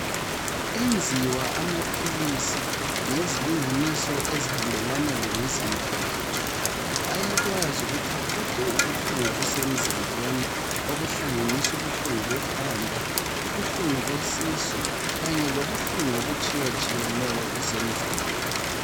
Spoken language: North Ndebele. Enziwa amaphilisi ngezilinganiso ezihambelana lemizimba yethu ayakwazi ukuthi aqede ubuhlungu obusemzimbeni okuhlanganisa ubuhlungu bekhanda ubuhlungu besisu kanye lobuhlungu okutshiyetshiyeneyo obusemzimbeni.